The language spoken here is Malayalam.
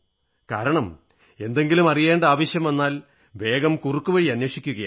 കാരണം എന്തെങ്കിലും അറിയേണ്ട ആവശ്യം വന്നാൽ വേഗം കുറുക്കുവഴി അന്വേഷിക്കയായി